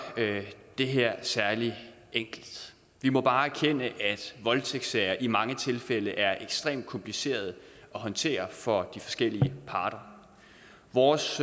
det her er særlig enkelt vi må bare erkende at voldtægtssager i mange tilfælde er ekstremt komplicerede at håndtere for de forskellige parter vores